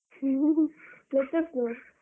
ter Lectures .